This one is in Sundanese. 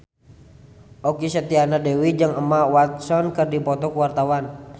Okky Setiana Dewi jeung Emma Watson keur dipoto ku wartawan